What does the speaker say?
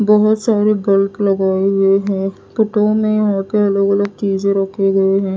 बहोत सारे ब्लप लगाये हुए है। में यहां के अलग अलग चीजें रखी गई है।